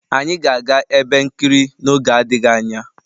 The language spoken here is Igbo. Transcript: Anyị ga-aga ebe nkiri n'oge adịghị anya